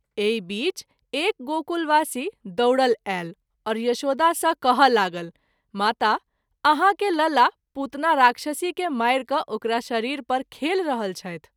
एहि बीच एक गोकुलवासी दौड़ल आयल और यशोदा सँ कहय लागल माता ! आहाँ के लला पुतना राक्षसी के मारि क’ ओकरा शरीर पर खेलि रहल छथि।